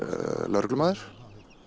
lögreglumaður